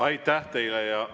Aitäh teile!